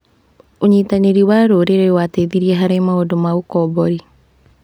ũnyitanĩri wa rũrĩrĩ wateithirie harĩ maũndũ ma ũkombori.